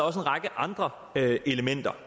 række andre elementer